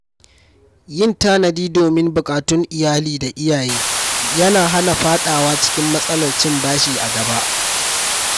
Yin tanadi domin buƙatun iyali da iyaye yana hana faɗa wa cikin matsalar cin bashi a gaba.